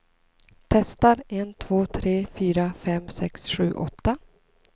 Testar en två tre fyra fem sex sju åtta.